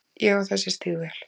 Ég á þessi stígvél.